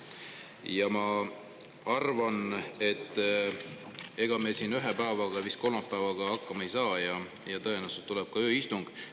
Ja ma arvan, et ega me siin vist ühe päevaga, kolmapäevaga hakkama ei saa ja tõenäoliselt tuleb ööistung.